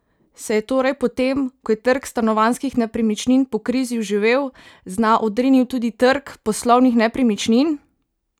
Se je torej po tem, ko je trg stanovanjskih nepremičnin po krizi oživel, z dna odrinil tudi trg poslovnih nepremičnin?